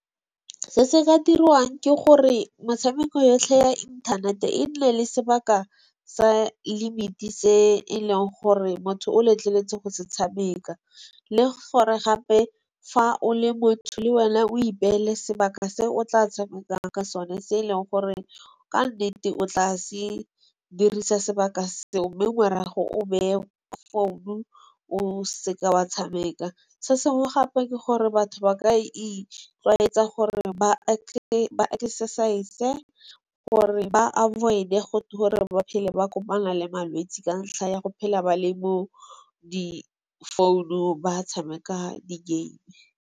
Se se ka dirwang ke gore motshameko yotlhe ya inthanete, e nne le sebaka sa limit-e se e leng gore motho o letleletswe go se tshameka. Le gore gape fa o le motho le wena o ipeele sebaka se o tla tshamekang ka sone se e leng gore ka nnete o tla se dirisa sebaka seo. Mme morago o beye founu o seka wa tshameka. Se sengwe gape ke gore batho ba ka itlwaetsa gore ba exercise-e gore ba avoid-e gore ba phele ba kopana le malwetsi ka ntlha ya go phela ba le mo difounung ba tshameka di-game.